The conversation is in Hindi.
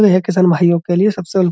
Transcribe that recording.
यह है किसान भाइयों के लिए सबसे --